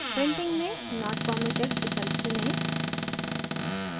printing में not permitted विकल्प चुनें